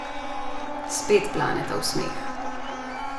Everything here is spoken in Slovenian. Spet planeta v smeh.